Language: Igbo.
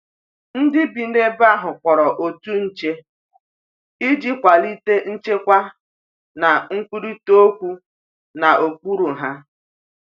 Ndi bi n'ebe ahu kpụrụ otụ nche ịjị kwalite nchekwa na nkwụrita okwu na okpụrụ ha